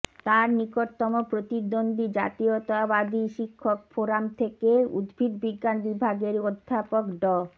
তার নিকটতম প্রতিদ্বন্দ্বী জাতীয়তাবাদী শিক্ষক ফোরাম থেকে উদ্ভিদ বিজ্ঞান বিভাগের অধ্যাপক ড